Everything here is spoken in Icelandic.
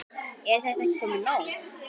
Er þetta ekki komið nóg?